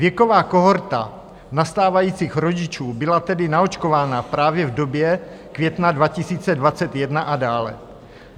Věková kohorta nastávajících rodičů byla tedy naočkována právě v době května 2021 a dále.